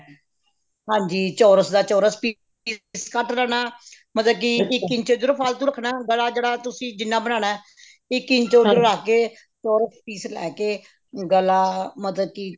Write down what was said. ਹਾਂਜੀ ਚੋਰਸ ਦਾ ਚੋਰਸ piece ਕੱਟ ਲੈਣਾ ਮਤਲਬ ਕੀ ਇੱਕ ਇੰਚ ਇੱਧਰੋਂ ਫਾਲਤੂ ਰੱਖਣਾ ਗਲਾ ਜਿਹੜਾ ਤੁਸੀਂ ਜਿੰਨਾ ਬਣਾਉਣਾ ਇੱਕ ਇੰਚ ਉੱਧਰ ਰੱਖ ਕੇ ਚੋਰਸ piece ਲੈਕੇ ਗਲਾ ਮਤਲਬ ਕੀ